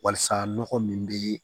Walasa nɔgɔ min bɛ